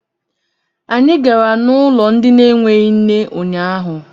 Anyị gara n'ụlọ ndị na-enweghị nne unyaahụ.